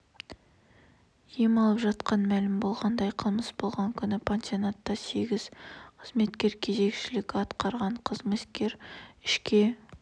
ем алып жатқан мәлім болғандай қылмыс болған күні пансионатта сегіз қызметкер кезекшілік атқарған қылмыскер ішке